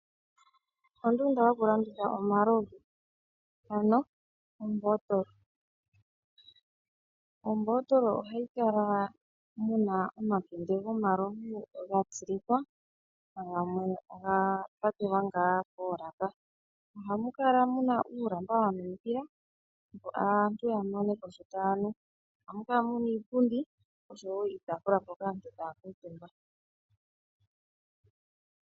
Ondunda yokulanditha omalovu, ano ombootolo. Ombootola ohayi kala yi na omakende gomalovu ga tsilikwa go gamwe oga pakelwa ngaa molaka. Ohamu kala mu na uulamba wa minikila, opo aantu ya mone ko sho taya nu. Ohamu kala mu na iipundi oshowo iitaafula mpoka aantu taya kuutumba.